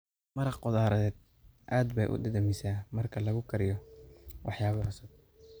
Maraq khudradeed aad bay u dhadhamisaa marka lagu kariyo waxyaabo cusub.